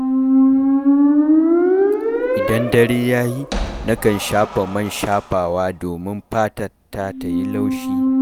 Idan dare ya yi, nakan shafa man shafawa domin fatata ta yi laushi.